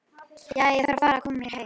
Jæja, ég þarf að fara að koma mér heim